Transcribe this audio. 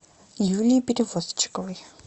юлией перевозчиковой